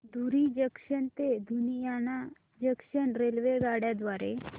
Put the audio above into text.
धुरी junction ते Ludhiana junction रेल्वेगाड्यां द्वारे